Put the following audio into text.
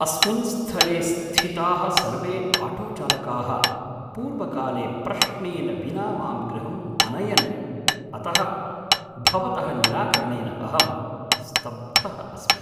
अस्मिन् स्थले स्थिताः सर्वे आटोचालकाः पूर्वकाले प्रश्नेन विना मां गृहम् अनयन्, अतः भवतः निराकरणेन अहं स्तब्धः अस्मि ।